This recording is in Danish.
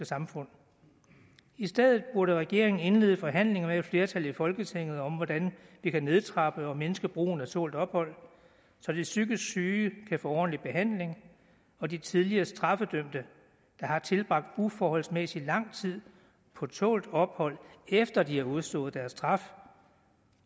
samfund i stedet burde regeringen indlede forhandlinger med et flertal i folketinget om hvordan vi kan nedtrappe og mindske brugen af tålt ophold så de psykisk syge kan få ordentlig behandling og de tidligere straffede der har tilbragt uforholdsmæssig lang tid på tålt ophold efter de har udstået deres straf